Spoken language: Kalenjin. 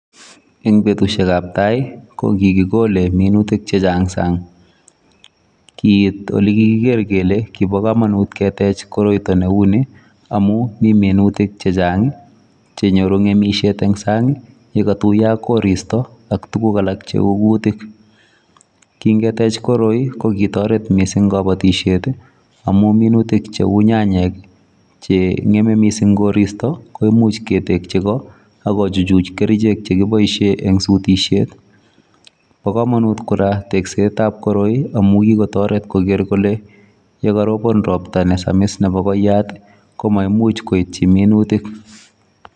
Eng betusiek ab tai ko kigikolei minutik che chaang sana kit ole kikiger kele bo kamanut keteech kiit nebo kamanut ne uu nii amuun mii minutik che chaang ii che nyoruu ngechiriet eng sang ii ye katuyaa ak kristo I ak tuguk alaak che uu kutiik ,kin keteech tuguk che uu ko kotaret missing tuguk che uu kabatisyeet ii amuunminutik che uu nyanyeek ii che ngeme missing koristoi ako ko chu church kercheek chekiboishen en sutisheet bo kamanut kora tekset ab koroi amuun kikotaret kole ye karobaan roptaa ne Sami's nebo koyaat ko maimuuch koityii minutik.